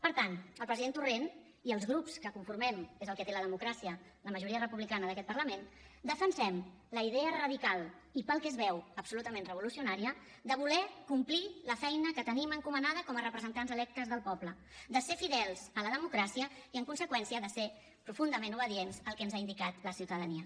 per tant el president torrent i els grups que conformem és el que té la democràcia la majoria republicana d’aquest parlament defensem la idea radical i pel que es veu absolutament revolucionària de voler complir la feina que tenim encomanada com a representants electes del poble de ser fidels a la democràcia i en conseqüència de ser profundament obedients al que ens ha indicat la ciutadania